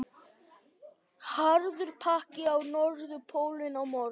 Harður pakki á Norðurpólnum á morgun